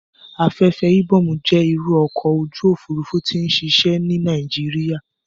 Afẹ́fẹ́ Ibom jẹ́ irú ọkọ̀ ojú òfurufú tó n ṣiṣẹ́ ní Nàìjíríyà